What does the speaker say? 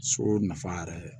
So nafa yɛrɛ